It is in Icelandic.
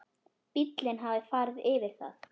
Bíllinn hafði farið yfir það.